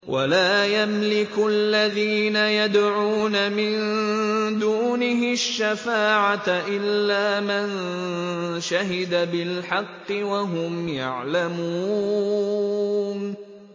وَلَا يَمْلِكُ الَّذِينَ يَدْعُونَ مِن دُونِهِ الشَّفَاعَةَ إِلَّا مَن شَهِدَ بِالْحَقِّ وَهُمْ يَعْلَمُونَ